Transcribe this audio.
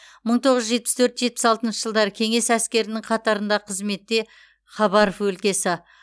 мың тоғыз жүз жетпіс төрт жетпіс алтыншы жылдары кеңес әскерінің қатарында қызметте хабаров өлкесі